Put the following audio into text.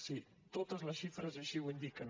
sí totes les xifres així ho indiquen